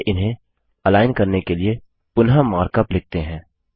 चलिए इन्हें अलाइन करने के लिए पुनः मार्कअप लिखते हैं